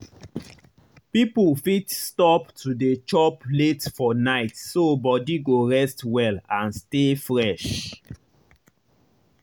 people fit stop to dey chop late for night so body go rest well and stay fresh.